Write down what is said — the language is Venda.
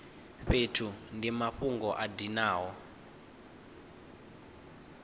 fhethu ndi mafhungo a dinaho